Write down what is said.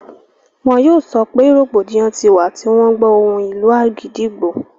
wọn yóò sọpẹ́ rògbòdìyàn ti wà tí wọ́n gbọ́ ohùn ìlù àgídìgbo.